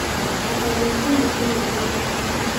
Ata biik chemiten eldoret